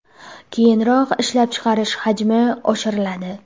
Keyinroq ishlab chiqarish hajmi oshiriladi.